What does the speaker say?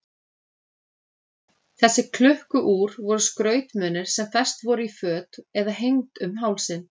Þessi klukku-úr voru skrautmunir sem fest voru í föt eða hengd um hálsinn.